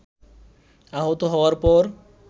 আহত হওয়ার পর